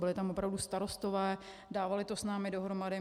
Byli tam opravdu starostové, dávali to s námi dohromady.